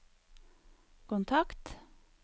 kontakt